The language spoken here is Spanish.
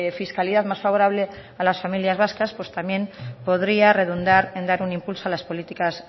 fiscalidad más favorable a las familias vascas también podría redundar en dar un impulso a las políticas